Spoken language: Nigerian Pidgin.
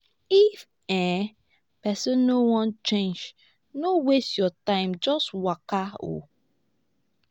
if um person no wan change no waste your time just waka